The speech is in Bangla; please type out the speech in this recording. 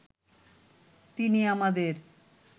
তিনি আমাদের